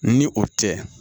Ni o tɛ